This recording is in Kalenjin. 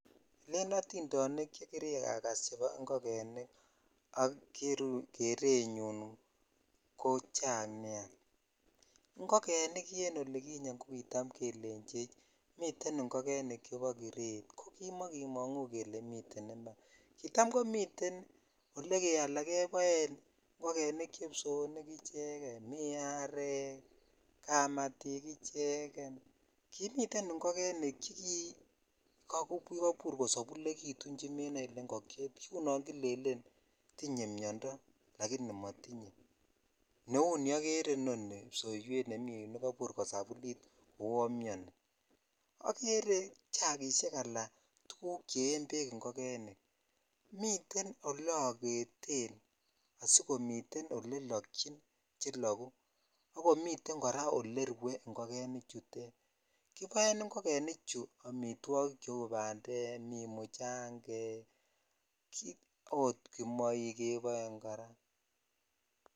Elen otindonik che kirakas chebo ingogenik ak kerenyunko chang nia ingogenik en oli olikinyen ko kitam kelenchecch miten ingogenik chebo kiret ko kimokimongu kile miten iman kita komiten olekeboen ingogenik che ipsoonik icheken mii arek kamatik ichegen kimiten ingogenik che kikabur kosobulekitun chemenoe ile ingokyet kiu non Killen tiny miondo ako motinye neu ni okere inoni ipsowet ne mi yu nekasabolit kou on mini akere chakishek ala tuguk che yen bek ingogenik miten ole ogeten asikomiten ole loktyin chelokuu ak komiten kora ole rue ingogenichutin kiboen ingogenik tuguk cheu bandek, mchangek ok kimoik kebonkora.